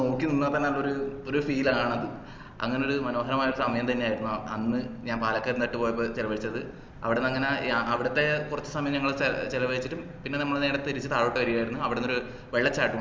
നോക്കി നിന്നാ തന്നെ അതൊരു ഒര് feel ആണ് അത് അങ്ങനെയൊരു മനോഹരമായ സമയം തന്നെ ആയിരുന്നു അന്ന് ഞാൻ പാലക്കയം തട്ട് പോയപ്പോ ചെലവഴിച്ചത് അവിടെ അങ്ങനെ അവിടത്തെ കൊർച് സമയം ഞങ്ങൾ ചെലവഴിച്ചിട്ട് പിന്ന നമ്മളു നേരെ തിരിച് താഴോട്ട് വരുവായിരുന്നു അവിടന്ന്ഒര് വെള്ളച്ചാട്ട